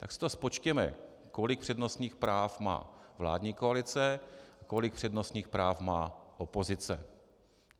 Tak si to spočtěme, kolik přednostních práv má vládní koalice, kolik přednostních práv má opozice.